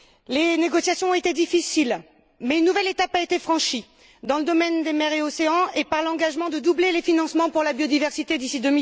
les négociations ont été difficiles mais une nouvelle étape a été franchie dans le domaine des mers et des océans et avec l'engagement de doubler les financements pour la biodiversité d'ici